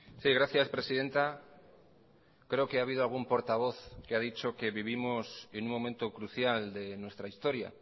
sí gracias presidenta creo que ha habido algún portavoz que ha dicho que vivimos en un momento crucial de nuestra historia